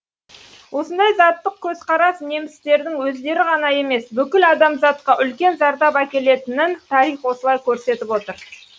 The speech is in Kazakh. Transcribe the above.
осындай заттық көзқарас немістердің өздері ғана емес бүкіл адамзатқа үлкен зардап әкелетінін тарих осылай көрсетіп отыр